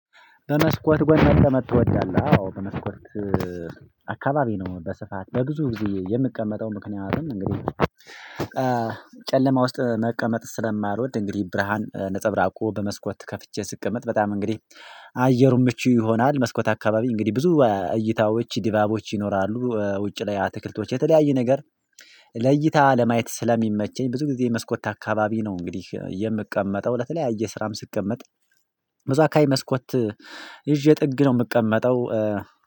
በመስኮት ጎን መቀመጥ ትወዳለህ? አዎ በመስኮት አካባቢ ነው። በስፋት በብዙ ጊዜ የምቀመጠው ምክንያትም እንግዲህ ጨለማ ውስጥ መቀመጥ ስለማልወድ። እንግዲህ ብርሃን ነፀብራቁ በመስኮት ከፍቼ ስቀመጥ በጣም እንግዲህ አየሩ ምቹ ይሆናል። መስኮት አካባቢ እንግዲህ ብዙ እይታዎች ዲባቦች ይኖራሉ ውጭ ላይ አትክልቶች የተለያዩ ነገር ለእይታ ለማየት ስለሚመቸኝ ብዙ ጊዜ መስኮት አካባቢ ነው። እንግዲህ የምቀመጠው ለተለያየ ስራም ስቀመጥ በዛ አካባቢ መስኮት ይዤ ጥግ ነው ምቀመጠው።